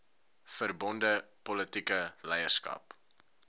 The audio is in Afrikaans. verbonde politieke leierskap